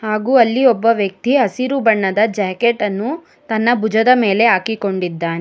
ಹಾಗು ಅಲ್ಲಿ ಒಬ್ಬ ವ್ಯಕ್ತಿ ಹಸಿರು ಬಣ್ಣದ ಜಾಕೆಟ್ ಅನ್ನು ತನ್ನ ಭುಜದ ಮೇಲೆ ಹಾಕಿಕೊಂಡಿದ್ದಾನೆ.